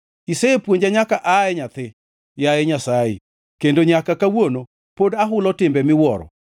Isepuonja nyaka aa e nyathi, yaye Nyasaye, kendo nyaka kawuono pod ahulo timbe miwuoro.